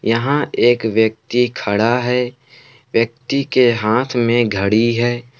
यहां एक व्यक्ति खड़ा है व्यक्ति के हाथ में घड़ी है।